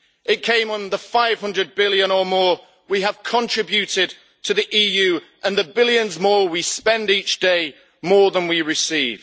It came on the 500 billion or more we have contributed to the EU and the billions more we spend each day more than we receive.